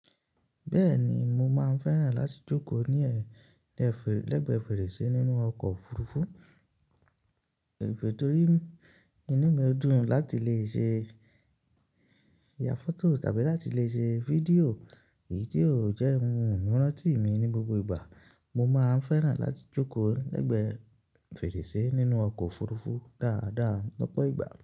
Bẹ́ẹ̀ni mo máa ń fẹ́ràn láti jókòó ni e, lẹ́gbẹ̀ẹ́ fèrèsé nínú ọkọ̀ òfurufú, torí inú mi dùn láti lè ṣe ya fọ́tò tàbí láti lè ṣe fídíò èyí tí ó jẹ́ ohun ìranti mi ní gbogbo ìgbà, mo máa ń fẹ́ràn láti jókòó lẹ́gbẹ̀ẹ́ fèrèsé nínú ọkọ̀ òfurufú dáadáa lọ́pọ̀ ìgbà.